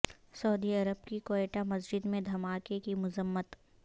سعودی عرب کی کوئٹہ مسجد میں دھماکے کی مذمت